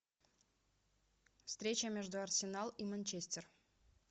встреча между арсенал и манчестер